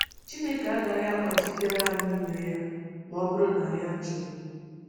Chineke agaghị akpachitere anyị ime ya ma ọ bụrụ na anyị achọghị.